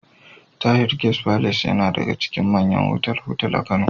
Tahir Guest Palace yana daga cikin manyan otal-otal a Kano.